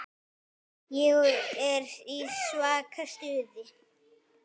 Ég er í svaka stuði.